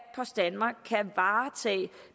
post danmark kan varetage